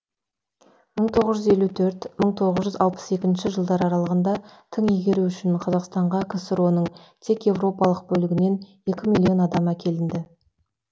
мың тоғыз жүз елу төрт мың тоғыз жүз алпыс екінші жылдар аралығында тың игеру үшін қазақстанға ксро ның тек еуропалық бөлігінен екі миллион адам әкелінді